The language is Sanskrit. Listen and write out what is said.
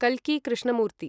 कल्कि कृष्णमूर्ति